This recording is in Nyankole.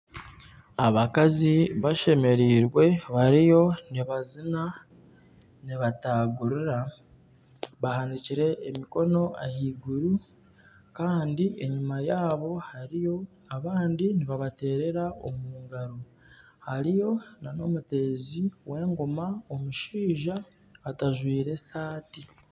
Abakazi bashemereirwe bariyo nibazina nibatagurira bahanikire emikono ahaiguru Kandi enyima yaabo hariyo abandi nibabatereera omungaro hariyo nana omuteezi w'engoma omushaija otajwire sati.